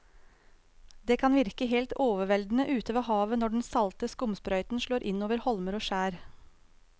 Det kan virke helt overveldende ute ved havet når den salte skumsprøyten slår innover holmer og skjær.